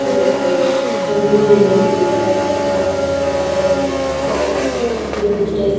ಇಲ್ಲಿ ಒಂದು ಹುಡುಗಿ ತಂಬೋರಿಯನ್ನು ಹಿಡಿದು ಬಾರಿಸುತ್ತ ಇಲ್ಲಿಂದ ತಬಲವನ್ನು ಹಿಡಿದುಕೊಂಡು ಭಾರಿಸಿದೆ ಇದನ್ನು ಸ್ಟೇಜು --